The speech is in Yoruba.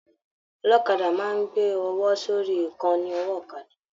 Ọlọ́kadà máa n gbé ọwọ sórí ìkànnì ọwọ ọ̀kàdà